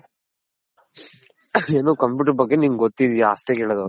ಏನು Computer ಬಗ್ಗೆ ನಿನಗ್ ಗೊತ್ತಿದ್ಯ ಅಷ್ಟೇ ಕೇಳೋದ್ ಅವ್ರು.